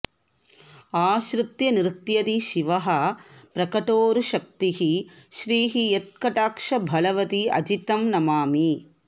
आश्रित्य नृत्यति शिवः प्रकटोरुशक्तिः श्रीः यत्कटाक्ष बलवति अजितं नमामि